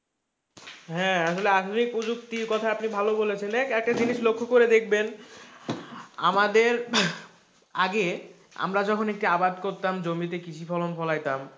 হ্যাঁ, আসলে আধুনিক প্রযুক্তির কথা আপনি ভালো বলেছেন, একটা জিনিস লক্ষ্য করে দেখবেন আমাদের আগে আমরা যখন একটা আবাদ করতাম জমিতে কৃষি ফলন ফলাইতাম,